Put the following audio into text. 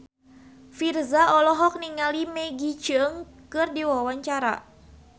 Virzha olohok ningali Maggie Cheung keur diwawancara